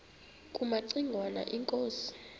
kumaci ngwana inkosi